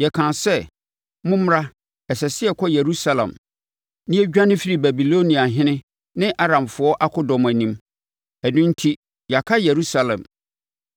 yɛkaa sɛ, ‘Mommra, ɛsɛ sɛ yɛkɔ Yerusalem na yɛdwane firi Babiloniafoɔ ne Aramfoɔ akodɔm anim.’ Ɛno enti yɛaka Yerusalem.”